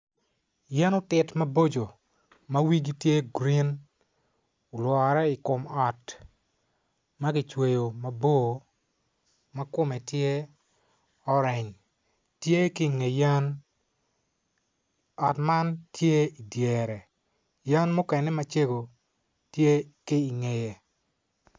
Yen otit mabocco ma wigi tye grin olwore i kom ot ma kicweyo mabor ma kome tye oreny tye ki inge yen ot man tye idyere yen mukene macego tye ki ingeye.